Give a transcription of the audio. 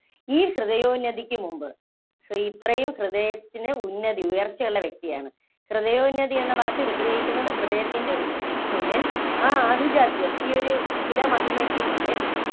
ഈ ഹൃദയോന്നതിക്ക് മുമ്പ് ഈ ഇത്രയും ഹൃദയത്തിന് ഉന്നതി, ഉയര്‍ച്ചയുള്ള വ്യക്തിയാണ് ഹൃദയോന്നതി എന്ന വാക്ക് വിഗ്രഹിക്കുന്നത് ഹൃദയത്തിന്‍റെ ഉന്നതി യ്ക്കുമുന്നില്‍ ആ ആഭിജാത്യം, ഈ ഒരു കുല മഹിമയ്ക്ക് മുന്നില്‍